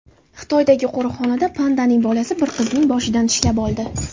Xitoydagi qo‘riqxonada pandaning bolasi bir qizning boshidan tishlab oldi .